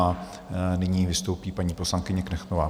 A nyní vystoupí paní poslankyně Knechtová.